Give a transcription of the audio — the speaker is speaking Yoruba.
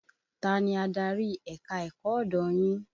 Ta ni adarí ẹ̀ka-ẹ̀kọ́ ọ̀dọ̀ yín?